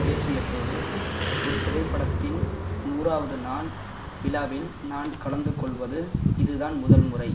பேசியபோது ஒரு திரைப்படத்தின் நூறாவது நாள் விழாவில் நான் கலந்துகொள்வது இதுதான் முதல்முறை